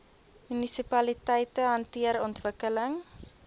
munisipaliteite hanteer ontwikkeling